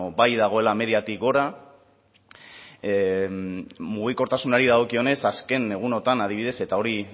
bai dagoela mediatik gora mugikortasunari dagokionez azken egunotan adibidez eta hori